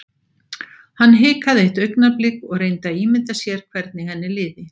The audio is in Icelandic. Hann hikaði eitt augnablik og reyndi að ímynda sér hvernig henni liði.